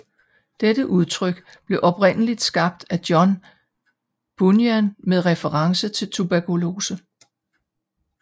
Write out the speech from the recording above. Dette udtryk blev oprindeligt skabt af John Bunyan med reference til tuberkulose